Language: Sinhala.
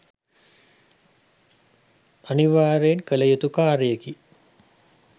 අනිවාර්යයෙන් කළ යුතු කාර්යයකි.